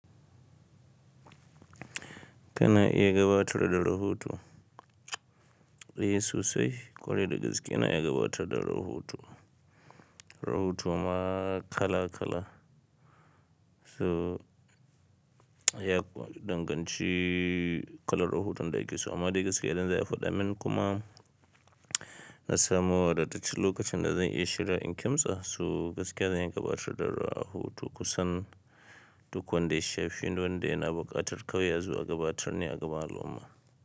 Kana iya gabatar da rahoto, ehh sosai kwarai da gaske ina iya gabatar da rahoto. Rahoto ma kala kala, su ya danganci kalar rahoton da ake so amma dai gaskiya idan za a faɗa min kuma na samu wadattacen lokacin da zan iya shiryawa in kimtsa, so gaskiya zan iya gabatar da rahoto kusan duk wanda ya sha feni wanda yana buƙatar kawai azo a gabatar ne a gaban al’umma.